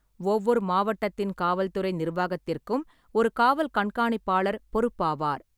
ஒவ்வொரு மாவட்டத்தின் காவல்துறை நிர்வாகத்திற்கும் ஒரு காவல் கண்காணிப்பாளர் பொறுப்பாவார்.